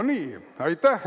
No nii, aitäh!